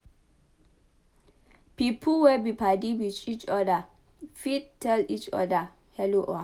Pipo wey be padi with each oda fit tell each oda hello or hi